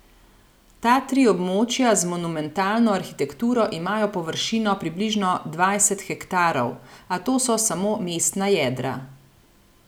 Ta tri območja z monumentalno arhitekturo imajo površino približno dvajset hektarov, a to so samo mestna jedra.